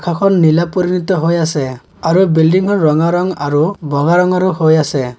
আকাশখন নীলা পৰিণীত হৈ আছে আৰু বিল্ডিংখন ৰঙা ৰং আৰু বগা ৰঙৰো হৈ আছে।